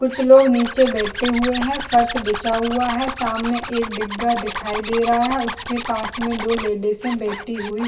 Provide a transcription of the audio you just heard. कुछ लोग नीचे बैठे हुए है फर्श बिछा हुआ है सामने एक डिग्गा दिखाई दे रहा है उसके पास में दो लेडीज बैठी हुई --